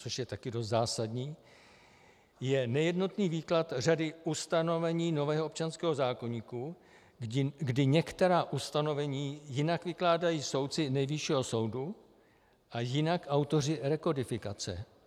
Co je taky dost zásadní, je nejednotný výklad řady ustanovení nového občanského zákoníku, kdy některá ustanovení jinak vykládají soudci Nejvyššího soudu a jinak autoři rekodifikace.